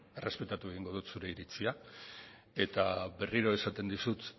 errespetatu egingo dut zure iritzia eta berriro esaten dizut